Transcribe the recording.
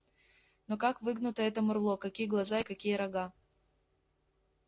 но как выгнуто это мурло какие глаза и какие рога